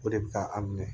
O de bɛ ka an minɛ